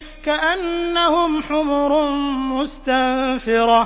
كَأَنَّهُمْ حُمُرٌ مُّسْتَنفِرَةٌ